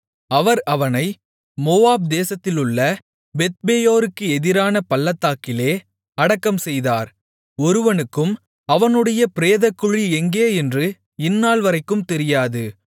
அவர் அவனை மோவாப் தேசத்திலுள்ள பெத்பேயோருக்கு எதிரான பள்ளத்தாக்கிலே அடக்கம் செய்தார் ஒருவனுக்கும் அவனுடைய பிரேதக்குழி எங்கேயென்று இந்நாள்வரைக்கும் தெரியாது